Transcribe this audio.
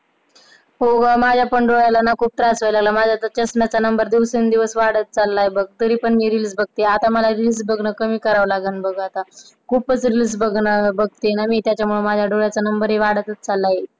हो ग, माझ्या पण डोळ्याला खूप त्रास व्हयला लागलाय बघ, माझ्या चष्म्याचा नंबर दिवसेंदिवस वाढत चाललय बघ तरी पण मी Reels बघते आता मला Reels बघणं कमी करावं लागेल बघ आता खूपच Reels बघते ना मी त्यामुळेच माझ्या डोळ्याचा नंबर वाढत चाललंय.